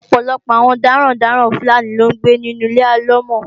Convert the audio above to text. Ọ̀pọ̀lọpọ̀ àwọn darandaran Fúlàní ló ń gbé inu Ilé alọ́mọ̀.